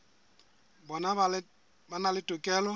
bona ba na le tokelo